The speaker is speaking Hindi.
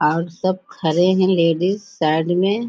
और सब खड़े है लडीस साइड में।